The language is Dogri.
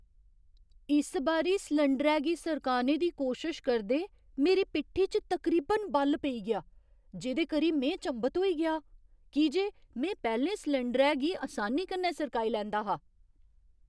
इस बारी सलैंडरै गी सरकाने दी कोशश करदे मेरी पिट्ठी च तकरीबन बल पेई गेआ, जेह्‌दे करी में चंभत होई गेआ की जे में पैह्‌लें सलैंडरै गी असानी कन्नै सरकाई लैंदा हा।